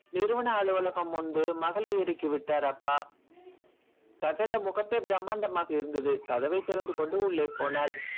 நிறுவன அலுவலகம் முன்பு மகளை இறக்கி விட்டார் அப்பா கட்டட முகப்பே பிரம்மாண்டமாக இருந்தது கதவைத் திறந்து கொண்டு உள்ளே போனாள்